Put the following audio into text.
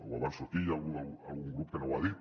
ho avanço aquí hi ha algun grup que no ho ha dit